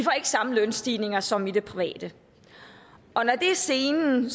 samme lønstigninger som i det private og når det er scenen